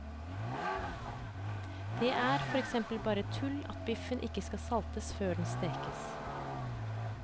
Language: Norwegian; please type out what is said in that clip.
Det er for eksempel bare tull at biffen ikke skal saltes før den stekes.